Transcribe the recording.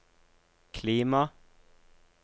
klima